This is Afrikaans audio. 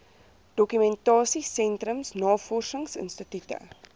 dokumentasie sentrums navorsingsinstitute